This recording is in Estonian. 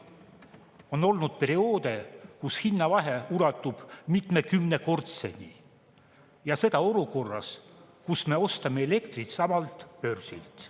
On olnud perioode, kus hinnavahe ulatub mitmekümnekordseni ja seda olukorras, kus me ostame elektrit samalt börsilt.